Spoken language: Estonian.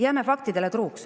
Jääme faktidele truuks.